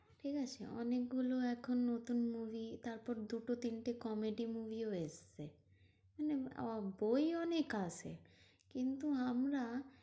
ঠিকাছে? অনেকগুলো এখন নতুন movie তারপর দুটো তিনটে comedy movie ও এসেছে মানে বই অনেক আসে কিন্তু আমরা